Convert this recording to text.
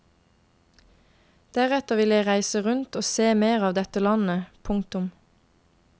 Deretter vil jeg reise rundt og se mer av dette landet. punktum